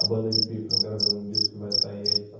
A banda de Pífaro, eu gravei um disco que vai sair aí.